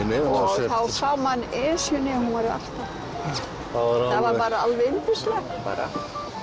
þá sá maður Esjuna hún var alltaf það var alveg yndislegt bara